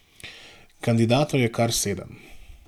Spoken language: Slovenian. Kandidatov je kar sedem.